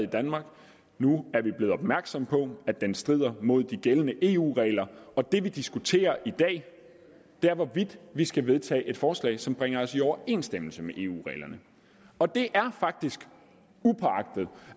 i danmark nu er vi blevet opmærksomme på at den strider mod de gældende eu regler og det vi diskuterer i dag er hvorvidt vi skal vedtage et forslag som bringer os i overensstemmelse med eu reglerne og det er faktisk upåagtet